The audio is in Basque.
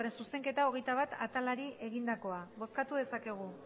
zuzenketa hogeita bat atalari egindakoa bozkatu dezakegu